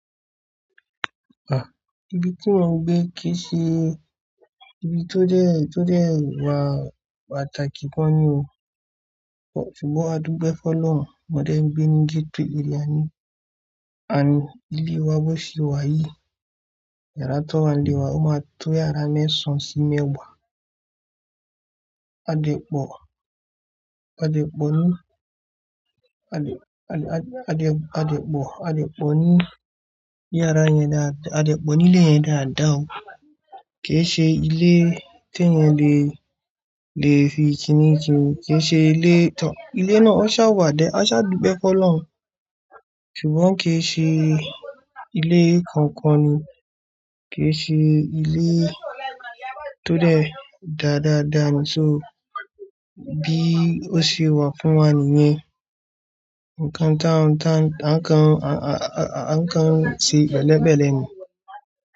Ah! Ibi tí mò ń gbé kì í ṣe ibi tó dẹ, tó dẹ wá pàtàkì gan ni o. Ṣùgbọ́n a dúgbẹ́ fọ́ lọ́run. Mọ̀dẹ̀ ẹ́ ń gbé ní gitri area ni, àní ilé wa bó ṣe wà yìí. Ẹ̀rá tó wà nílé wa ó máa tó yàrá mẹ́sàn-án sí mẹ́wà. A dẹ pọ̀, a dẹ pọ̀ ní, a dẹ, a dẹ, a dẹ pọ̀, a dẹ pọ̀ ní yàrá yẹn dá, a dẹ pọ̀ nílé yẹn dáadáa o. Kì í ṣe ilé tó yẹn lè, lè fi í kiní ju, kì í ṣe ilé tán. Ilé náà á sá wà dá, á sá dúgbẹ́ fọ́ lọ́run. Ṣùgbọ́n kì í ṣe ilé kankan ni, kì í ṣe ilé tó dẹ dáadáa dáa ni. So bí ó ṣe wà fún wa nìyẹn. Ǹkan tán, ńkan, a, a, a ńkan si bẹ́lẹ̀bẹ́lẹ̀ ni.